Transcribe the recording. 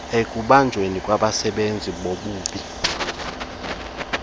ekubanjweni kwabenzi bobubi